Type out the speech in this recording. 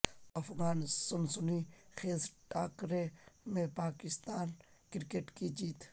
پاک افغان سنسنی خیز ٹاکرے میں پاکستان اور کرکٹ کی جیت